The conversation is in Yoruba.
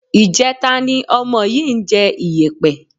Ìjẹta ni ọmọ yìí ń jẹ iyẹ̀pẹ̀